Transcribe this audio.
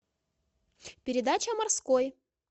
передача морской